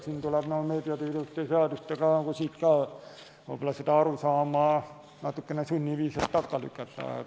Siin tuleb meediateenuste seadusega võib-olla seda arusaama natukene sunniviisil takka lükata.